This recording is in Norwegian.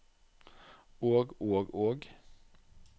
og og og